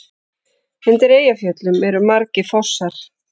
Undir Eyjafjöllum eru margir fossar.